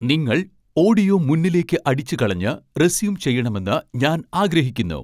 നിങ്ങൾ ഓഡിയോ മുന്നിലേയ്ക്ക് അടിച്ച് കളഞ്ഞ് റെസ്യൂം ചെയ്യണമെന്ന് ഞാൻ ആഗ്രഹിക്കുന്നു